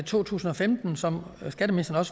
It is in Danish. to tusind og femten som skatteministeren